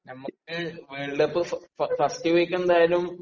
നമുക്ക്.. world cup first week എന്തായാലും...